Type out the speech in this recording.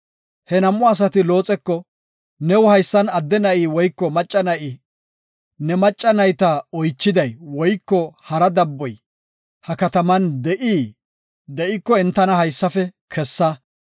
He nam7u asati Looxeko, “New haysan adde na7i woyko macca na7i, ne macca nayta oychiday woyko hara dabboy ha kataman de7ii? De7iko entana haysafe kessa.